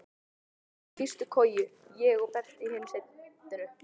Brói í fyrstu koju, ég og Berti í hinu settinu.